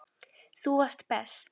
Þú varst best.